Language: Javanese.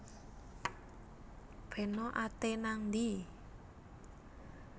Peno ate nang ndhi